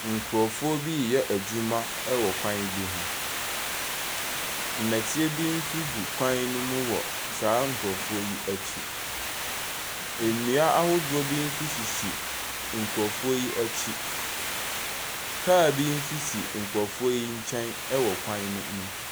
Nkrɔfoɔ bi yɛɛ adwuma ɛwɔ kwan bi ho. Nnɛteɛ bi nso gu kwan ne mu wɔ saa nkrɔfoɔ yi akyi. Ndua ahodoɔ bi nso sisi nkrɔfoɔ yi akyi. Kaa bi nso si nkrɔfoɔ yi nkyɛn ɛwɔ kwan ne ho.